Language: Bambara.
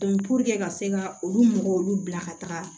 puruke ka se ka olu mɔgɔw olu bila ka taga